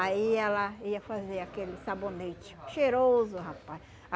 Aí ela ia fazer aquele sabonete cheiroso, rapaz.